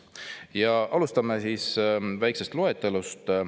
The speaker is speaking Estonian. Ja alustame väikesest loetelust.